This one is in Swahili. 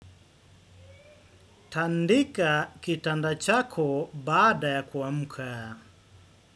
Tandika kitanda chako baada ya kuamuka.